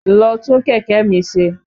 Lọ tún kẹ̀kẹ́ mi ṣe!